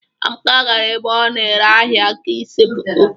Amaka gara ebe a na-ere ahịa ka ịse foto